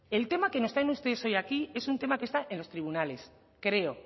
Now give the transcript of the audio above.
el tema que nos traen ustedes hoy aquí es un tema que está en los tribunales creo